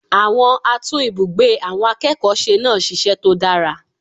Àwọn atún ibùgbé àwọn akẹ́kọ̀ọ́ se náà sisẹ́ tó dára